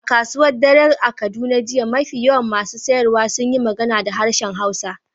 A kasuwar dare a Kaduna jiya, mafi yawan masu sayarwa sun yi magana da harshen Hausa.